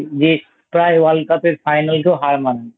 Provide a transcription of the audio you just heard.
যে প্রায় World Cup এর Final কেও হয়তো হার মানাতো ।